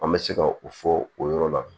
An bɛ se ka o fɔ o yɔrɔ la